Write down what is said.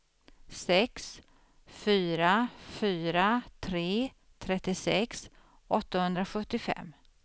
sex fyra fyra tre trettiosex åttahundrasjuttiofem